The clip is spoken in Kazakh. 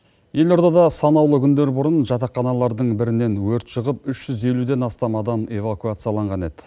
елордада санаулы күндер бұрын жатақханалардың бірінен өрт шығып үш жүз елуден астам адам эвакуацияланған еді